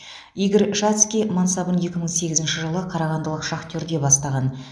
игорь шацкий мансабын екі мың сегізінші жылы қарағандылық шахтерде бастаған